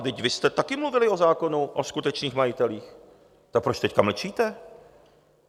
Vždyť vy jste také mluvili o zákonu o skutečných majitelích, tak proč teď mlčíte?